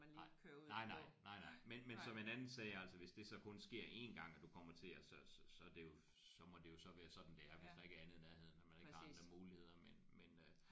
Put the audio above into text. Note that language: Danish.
Nej. Nej nej. Nej nej men men som en anden sagde altså hvis det så kun sker én gang og du kommer til at så så så er det jo så må det jo så være sådan det er hvis der ikke er andet i nærheden og man ikke har andre andre muligheder men men øh